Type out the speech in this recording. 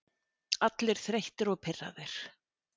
Allir þreyttir og pirraðir.